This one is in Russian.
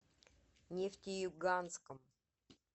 нефтеюганском